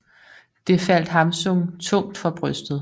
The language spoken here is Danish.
Det faldt Hamsun tungt for brystet